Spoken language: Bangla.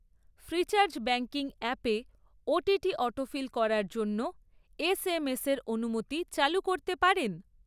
ফ্রিচার্জ ব্যাঙ্কিং অ্যাপে ওটিপি অটোফিল করার জন্য এসএমএসের অনুমতি চালু করতে পারেন?